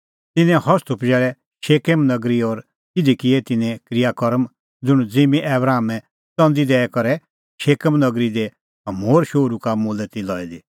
तिन्नें हस्तू पजैल़ै शकेम नगरी और तिधी किऐ तिन्नें क्रियाकर्म ज़ुंण ज़िम्मीं आबरामै च़ंदी दैई करै शकेम नगरी दी हमोरे शोहरू का मोलै ती लई दी